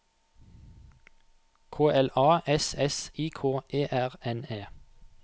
K L A S S I K E R N E